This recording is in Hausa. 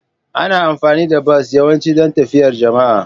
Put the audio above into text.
Ana amfani da bas yawanci don tafiyar jama'a.